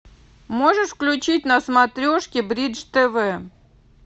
можешь включить на смотрешке бридж тв